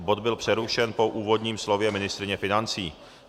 Bod byl přerušen po úvodním slově ministryně financí.